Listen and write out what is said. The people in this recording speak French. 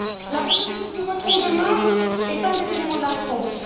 La résolution que nous voterons demain est un des éléments de la réponse.